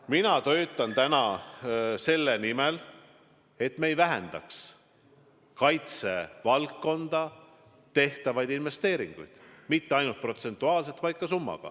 Mina töötan täna selle nimel, et me ei vähendaks kaitsevaldkonda tehtavaid investeeringuid, ja mitte ainult protsentuaalselt, vaid ka summas.